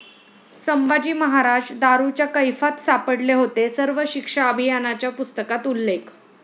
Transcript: संभाजी महाराज दारूच्या कैफात सापडले होते', सर्व शिक्षा अभियानाच्या पुस्तकात उल्लेख